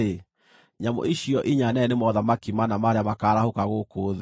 ‘Nyamũ icio inya nene nĩ mothamaki mana marĩa makaarahũka gũkũ thĩ.